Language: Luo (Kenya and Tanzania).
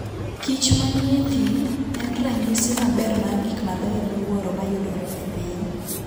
kich manie thim en ranyisi maber mar gik mabeyo miwuoro mayudore e piny.